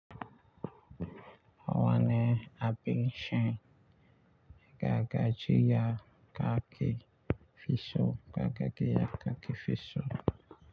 Wane abin shan ya ga gajiya kake fi so ga gaggiya kake fi so.